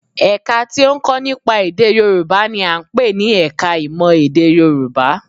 Ẹ̀ka tí ó ń kọ́ nípa èdè Yorùbá n i à ń pè ní ẹka ìmọ̀ èdè Yorùbá